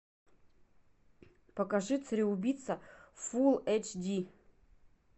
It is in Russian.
покажи цареубийца фул эйч ди